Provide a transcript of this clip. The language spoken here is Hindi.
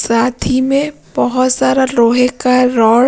साथ ही में बहुत सारा लोहे का रो--